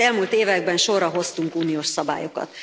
Az elmúlt években sorra hoztunk uniós szabályokat.